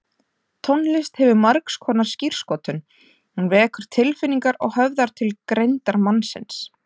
Tónlist hefur margskonar skírskotun, hún vekur tilfinningar og höfðar til greindar mannsins.